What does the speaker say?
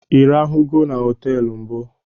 I rahụnugo na hotel?